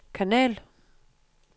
kanal